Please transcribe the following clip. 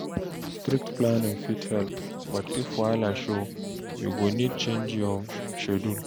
Strict planning fit help, but if wahala show, you go need change your schedule.